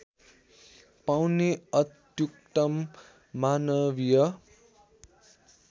पाउने अत्युत्तम मानवीय